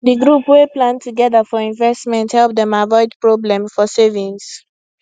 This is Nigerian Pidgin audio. d group wey plan togedr for investment help dem avoid problem for savings